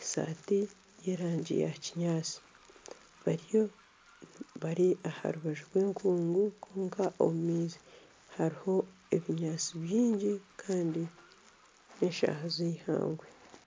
eshaati y'erangi yakinyaatsi bari aha rubaju rw'enkungu kwonka omu maizi hariho ebinyaatsi bingi kandi n'eshaaha z'eihangwe